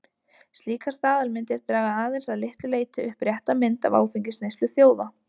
Slíkar staðalmyndir draga aðeins að litlu leyti upp rétta mynd af áfengisneyslu þjóða.